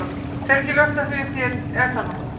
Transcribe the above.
Fer ekki að ljóstra því upp hér, er það nokkuð?